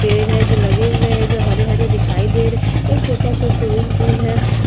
पेड़ है जो लगे हुए है जो हरे-हरे दिखाई दे रहे एक छोटा-सा स्विमिंग पूल है।